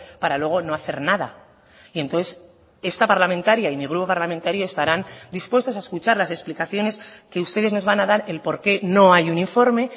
para luego no hacer nada y entonces esta parlamentaria y mi grupo parlamentario estarán dispuestos a escuchar las explicaciones que ustedes nos van a dar el por qué no hay un informe